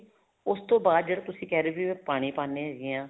ਉਸ ਤੋਂ ਬਾਅਦ ਜਿਹੜਾ ਤੁਸੀਂ ਕਹਿ ਰਹੇ ਸੀ ਜਦੋਂ ਪਾਣੀ ਪਾਨੇ ਹੈਗੇ ਹਾਂ